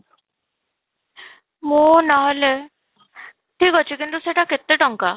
ମୁଁ ନ ହେଲେ ଠିକ ଅଛି କିନ୍ତୁ ସେଇଟା କେତେ ଟଙ୍କା?